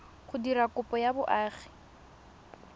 go dira kopo ya boagi